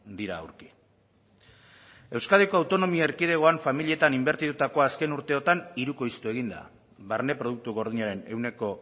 dira aurki euskadiko autonomia erkidegoan familietan inbertitutakoa azken urteetan hirukoiztu egin da barne produktu gordinaren ehuneko